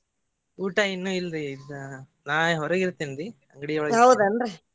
ಊಟ ಇನ್ನು ಇಲ್ರಿ ಇದ ನಾ ಹೊರಗಿರ್ತೇನ್ರಿ ಅಂಗ್ಡಿಯೊಳಗ .